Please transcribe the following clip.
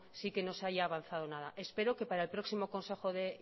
sí que no se haya avanzado nada espero que para el próximo consejo de